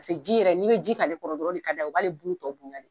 Paseke ji yɛrɛ , ni be ji k'ale kɔrɔ dɔrɔn o de ka d'a ye o b'ale bulu tɔ bonya de.